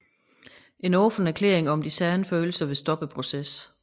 En åben erklæring om de sande følelser vil stoppe processen